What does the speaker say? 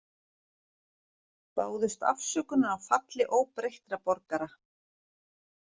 Báðust afsökunar á falli óbreyttra borgara